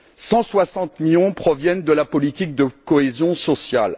160 millions proviennent de la politique de cohésion sociale.